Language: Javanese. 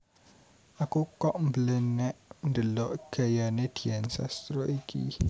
Aku kok mblenek ndelok gayane Dian Sastro iki